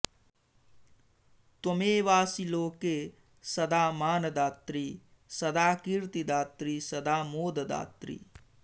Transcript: त्वमेवासि लोके सदा मानदात्री सदा कीर्तिदात्री सदा मोददात्री